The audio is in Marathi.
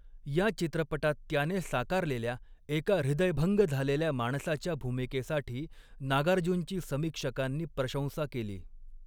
या चित्रपटात त्याने साकारलेल्या एका हृदयभंग झालेल्या माणसाच्या भूमिकेसाठी नागार्जुनची समीक्षकांनी प्रशंसा केली.